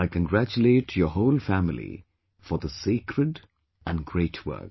I congratulate your whole family for this sacred and great work